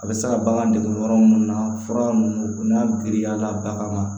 A bɛ se ka bagan dege yɔrɔ minnu na fura minnu n'a girinya la bagan ma